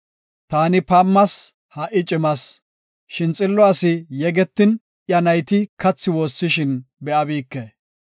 Taani paamas; ha77i cimas; shin xillo asi yegetin, iya nayti kathi woossishin be7abike.